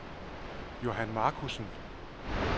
Johan Marcussen